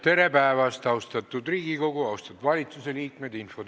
Tere päevast, austatud Riigikogu ja austatud valitsusliikmed!